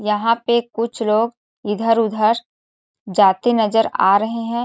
यहाँ पे कुछ लोग इधर-उधर जाते नजर आ रहे हैं।